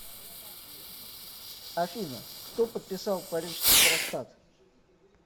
афина кто подписал парижский трактат